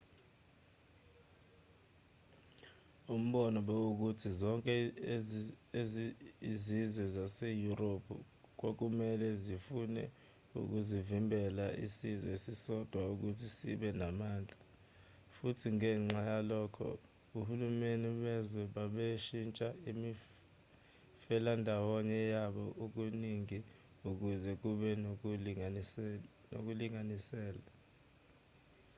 umbono bekuwukuthi zonke izizwe zaseyurophu kwakumelwe zifune ukuvimbela isizwe esisodwa ukuthi sibe namandla futhi ngenxa yalokho ohulumeni bezwe babeshintsha imifelandawonye yabo kaningi ukuze kube nokulinganisela